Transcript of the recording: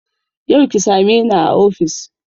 Yau ki same ni a ofis